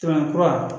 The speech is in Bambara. Tɛmɛ kura